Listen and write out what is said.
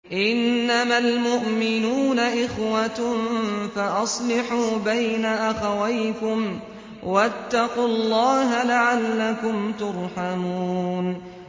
إِنَّمَا الْمُؤْمِنُونَ إِخْوَةٌ فَأَصْلِحُوا بَيْنَ أَخَوَيْكُمْ ۚ وَاتَّقُوا اللَّهَ لَعَلَّكُمْ تُرْحَمُونَ